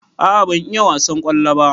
A'a ban iya wasan kwallo ba.